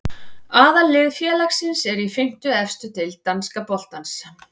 Aðallið félagsins er í fimmtu efstu deild danska boltans.